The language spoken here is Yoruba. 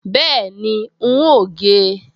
Bẹ́ẹ̀ni, n óò gé e